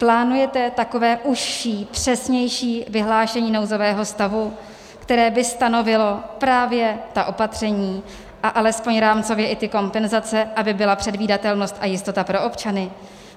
Plánujete takové užší, přesnější vyhlášení nouzového stavu, které by stanovilo právě ta opatření a alespoň rámcově i ty kompenzace, aby byla předvídatelnost a jistota pro občany?